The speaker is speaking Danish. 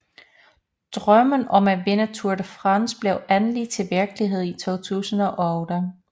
Drømmen om at vinde Tour De France blev endelig til virkelighed i 2008